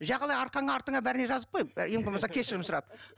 жағалай арқаңа артыңа бәріне жазып қой ең болмаса кешірім сұрап